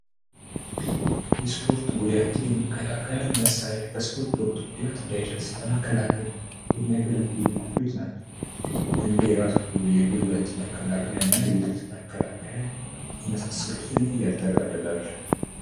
የስፖርት ጉዳትን የመከላከያ መሳሪያ በስፖርት ወቅት ጉዳት እንዳይደርስ ለመከላከ የሚያገለግሉ ኩፎች ናቸው። እንደ ራስ ቆብ የጉልበት መከላከያ እና የእርጥበት መከላከያ ይመሳስሉትን ያጠቃልላል።